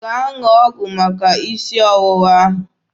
Gaa ṅụọ ọgwụ maka isi ọwụwa ahụ!